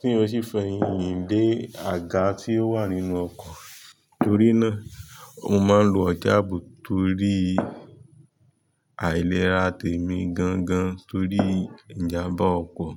tí ó sì fẹyin lé àga tí ó wà nínú ọkọ̀. Torí náà, mo máa ń lo ọjà ààbò torí àìlera tèmi gan gan torí ìjàmbá ọkọ̀.